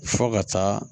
Fɔ ka taa